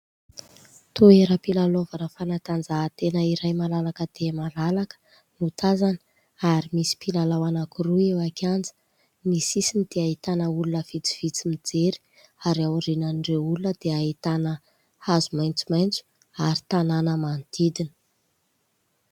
Toera-pilalaovana fanatanjaha-tena iray malalaka dia malalaka, no tazana. Ary misy mpilalao anakiroa eo an-kianja ; ny sisiny dia ahitana olona vitsivitsy mijery. Ary aorinan'ireo olona, dia ahitana, hazo maintsomaintso, ary tanàna manodidina.